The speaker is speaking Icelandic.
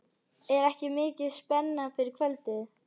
Er ekki mikil spenna fyrir kvöldið?